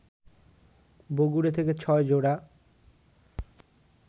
বগুড়া থেকে ৬ জোড়া